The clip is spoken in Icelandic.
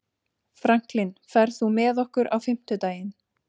Franklin, ferð þú með okkur á fimmtudaginn?